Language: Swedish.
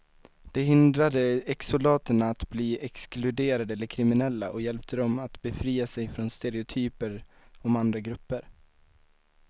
Det hindrade exsoldaterna att bli exkluderade eller kriminella och hjälpte dem att befria sig från stereotyper om andra grupper.